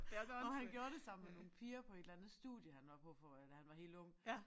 Hvor han gjorde sammen med nogle piger på et eller andet studie han var på for da han var helt ung